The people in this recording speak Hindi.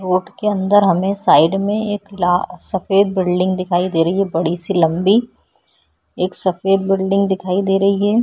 रोड के अंदर हमें साइड में एक ला सफ़ेद बिल्डिंग दिखाई दे रही है बड़ी -सी लम्बी एक सफ़ेद बिल्डिंग दिखाई दे रही हैं।